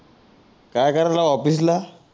काय करायला ऑफिस ला